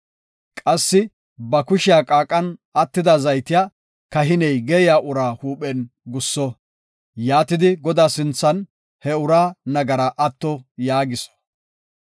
Qassi ba kushiya qaaqan attida zaytiya kahiney geeyiya uraa huuphen gusso; yaatidi Godaa sinthan he uraa nagaraa atto yaagiso.